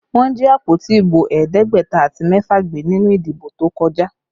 Wọ́n jí àpótí ibo ẹ̀ẹ́dẹ́gbẹ̀ta àti mẹ́fà gbé nínú ìdìbò tó kọjá